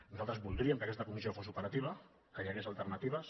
nosaltres voldríem que aquesta comissió fos operativa que hi hagués alternatives